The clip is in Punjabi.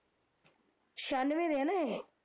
ਛਿਆਨਵੇ ਦੇ ਨਾ ਏਹ